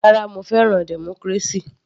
Rárá, mo fẹ́ràn democracy.